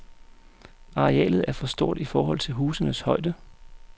Arealet er for stort i forhold til husenes højde.